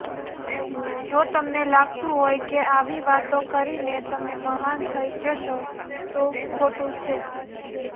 જો તમને લાગતું હોય કે આવી વાતો કરીને તમે મહાન થઈ જશો તો ખોટું છે